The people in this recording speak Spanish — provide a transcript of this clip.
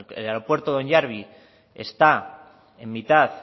el aeropuerto de onyarbi está en mitad